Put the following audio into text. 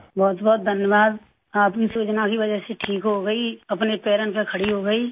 بہت بہت شکریہ آپ کی اسکیم کی وجہ سے ٹھیک ہوگئی، اپنے پیرں پر کھڑی ہوگئی